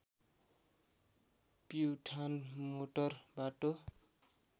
Pyuthan motor बाटो